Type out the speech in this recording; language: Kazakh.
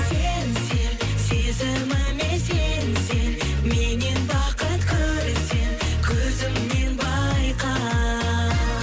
сен сен сезіміме сенсең меннен бақыт көрсең көзімнен байқа